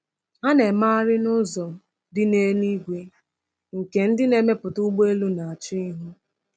Ha na-emegharị n’ụzọ dị n’elu igwe nke ndị na-emepụta ụgbọelu na-achọ ịhụ.